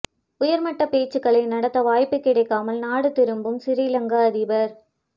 உயர்மட்டப் பேச்சுக்களை நடத்த வாய்ப்புக் கிடைக்காமல் நாடு திரும்பும் சிறிலங்கா அதிபர்